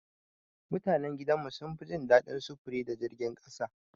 Mutanan gidan mu sun fi jin daɗin sufuri da jirgin ƙasa.